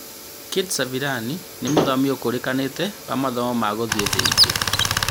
Kate Salivani nĩ mũthomi ũkũrĩkanĩte wa mathomo ma gũthiĩ thĩ ingĩ.